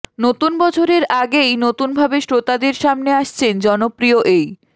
নতুন বছরের আগেই নতুনভাবে শ্রোতাদের সামনে আসছেন জনপ্রিয় এই